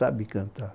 Sabe cantar.